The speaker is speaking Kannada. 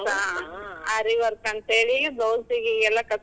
Saree work ಅಂತ್ಹೇಳಿ. blouse ಗೆ.